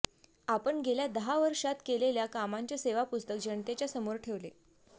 आपण गेल्या दहा वर्षांत केलेल्या कामांचे सेवापुस्तक जनतेच्या समोर ठेवले